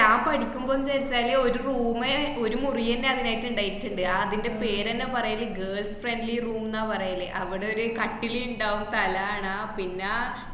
ഞാൻ പഠിക്കുമ്പോ ന്താച്ചാല് ഒരു room മ് ഒരു മൂറിയന്നെ അയിനായിട്ട് ഇണ്ടായിട്ട്ണ്ട്. അതിന്‍റെ പേരന്നെ പറയല് girls friendly room ന്നാ പറയല്. അവിടൊരു കട്ടില് ഇണ്ടാവും, തലാണ പിന്നെ